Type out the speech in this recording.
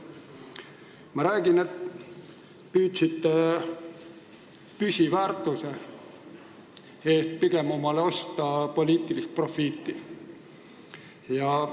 Ma väidan, et te püüdsite püsiväärtuselt lõigata poliitilist profiiti.